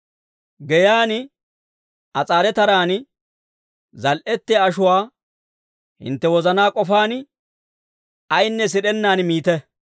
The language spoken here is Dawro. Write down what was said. Geyaan as'aare taraan zal"ettiyaa ashuwaa hintte wozanaa k'ofaan, ayinne sid'ennaan miite.